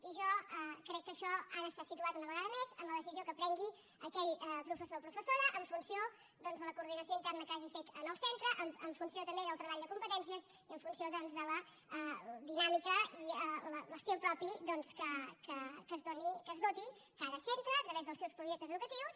i jo crec que això ha d’estar situat una vegada més en la decisió que prengui aquell professor o professora en funció doncs de la coordinació interna que hagi fet en el centre en funció també del treball de competències i en funció de la dinàmica i l’estil propi de què es doti cada centre a través dels seus projectes educatius